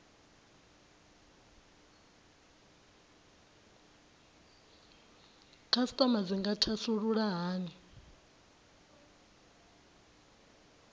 khasitama dzi nga thasulula hani